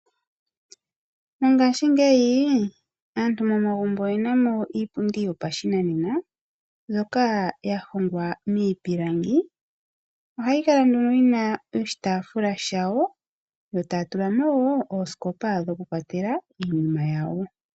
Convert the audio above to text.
Mongaashingeyi aantu mo magumbo oye namo iipundi yo pa shinanena mbyoka ya hongwa mii pilangi. Ohayi kala nduno yina oshitaafula shawo, yo taya tula mo woo ooskopa dho ku kwatela iinima yawo.